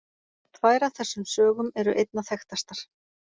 Tvær af þessum sögum eru einna þekktastar.